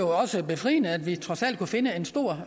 også befriende at vi trods alt kunne finde et stort